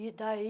E daí...